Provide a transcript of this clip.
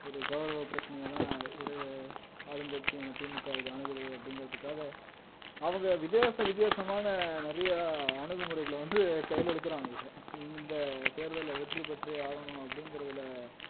ஒரு கௌரவ பிரச்சனையா தான் இரு ஆளுங்கட்சியான திமுக இத அணுகுது அப்படிங்கிறதுக்காக அவங்க வித்தியாச வித்தியாசமான நிறைய அணுகுமுறைகளை வந்து கையில எடுக்குறாங்க இத இந்த தேர்தல்ல வெற்றி பெற்றே ஆகணும் அப்படிங்கிறதுல